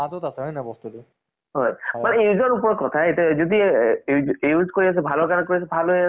mobile ও ওলোৱা নাছিলে তেতিয়া টো আমাৰ সেই কিবা এটা শক্তিমান বুলি আছিলে, junior g বুলি